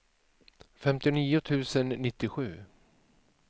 femtionio tusen nittiosju